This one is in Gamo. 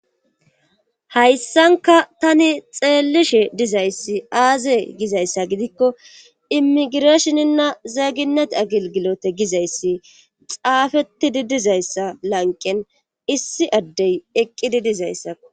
hayssankka tani xeellishe gizayssi aaze gizayssa gidikko immigreshininna zeginet agelgilote gizayssi xaafettidi dizayssa lanqqen issi addey eqqidi dizayssakko.